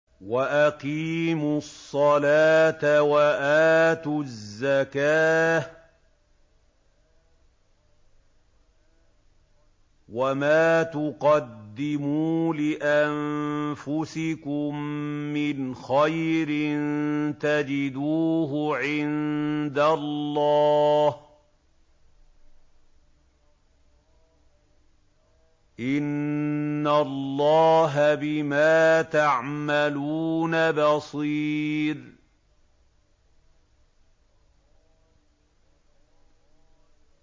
وَأَقِيمُوا الصَّلَاةَ وَآتُوا الزَّكَاةَ ۚ وَمَا تُقَدِّمُوا لِأَنفُسِكُم مِّنْ خَيْرٍ تَجِدُوهُ عِندَ اللَّهِ ۗ إِنَّ اللَّهَ بِمَا تَعْمَلُونَ بَصِيرٌ